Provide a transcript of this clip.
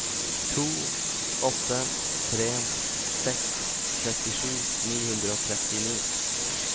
to åtte tre seks trettisju ni hundre og trettini